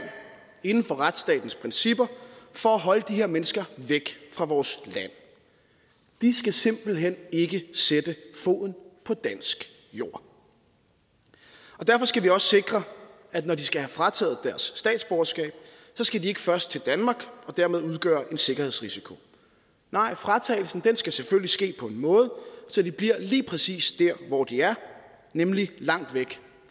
inden for retsstatens principper for at holde de her mennesker væk fra vores land de skal simpelt hen ikke sætte foden på dansk jord derfor skal vi også sikre at når de skal have frataget deres statsborgerskab skal de ikke først til danmark og dermed udgøre en sikkerhedsrisiko nej fratagelsen skal selvfølgelig ske på en måde så de bliver lige præcis der hvor de er nemlig langt væk